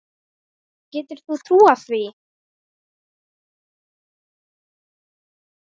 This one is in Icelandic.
Getur þú trúað því?